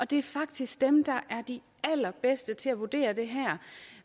det er faktisk dem der er de allerbedste til at vurdere det her